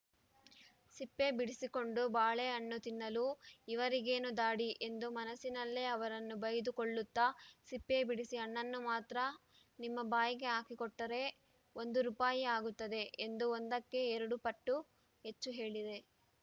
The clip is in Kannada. ಸಿಪ್ಪೆ ಬಿಡಿಸಿಕೊಂಡು ಬಾಳೆಹಣ್ಣು ತಿನ್ನಲು ಇವರಿಗೇನು ಧಾಡಿ ಎಂದು ಮನಸ್ಸಿನಲ್ಲೇ ಅವರನ್ನು ಬೈದು ಕೊಳ್ಳುತ್ತಾ ಸಿಪ್ಪೆ ಬಿಡಿಸಿ ಹಣ್ಣನ್ನು ಮಾತ್ರ ನಿಮ್ಮ ಬಾಯಿಗೆ ಹಾಕಿ ಕೊಟ್ಟರೆ ಒಂದು ರೂಪಾಯಿ ಆಗುತ್ತದೆ ಎಂದು ಒಂದಕ್ಕೆ ಎರಡು ಪಟ್ಟು ಹೆಚ್ಚು ಹೇಳಿದೆ